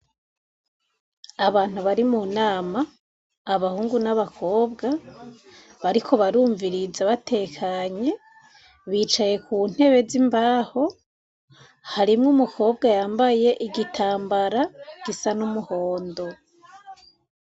Abantu bari mu nama abahungu n'abakobwa bariko barumviriza batekanye bicaye ku ntebe z'imbaho harimwo umukobwa yambaye igitambara gisa n'umuhondo.